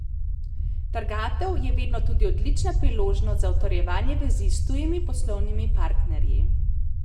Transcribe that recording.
Trgatev je vedno tudi odlična priložnost za utrjevanje vezi s tujimi poslovnimi partnerji.